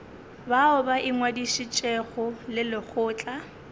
bao ba ingwadišitšego le lekgotla